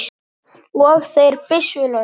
Ég er byssu laus.